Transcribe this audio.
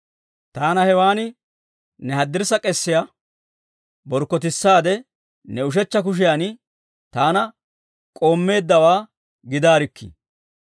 Taana hewan ne haddirssa k'eesiyaa borkkotissaade, ne ushechcha kushiyan taana k'oommeeddawaa gidaarikkii.